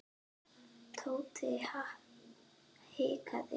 Tóti hikaði.